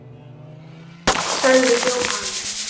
sagði Jóhann.